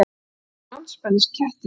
Og stóð aftur andspænis klettinum.